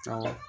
Awɔ